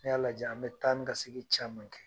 Ni y'a lajɛ an be taa ni ka segin caman kɛ.